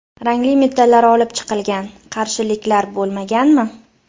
Rangli metallar olib chiqilgan... - Qarshiliklar bo‘lmaganmi?